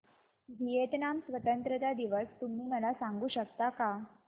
Vietnam स्वतंत्रता दिवस तुम्ही मला सांगू शकता का